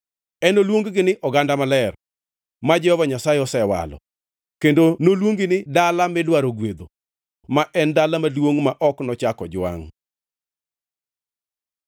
Enoluong-gi ni Oganda Maler, ma Jehova Nyasaye Osewalo; kendo noluongi ni Dala Midwaro Gwedho ma en Dala Maduongʼ Ma Ok Nochak Ojwangʼ.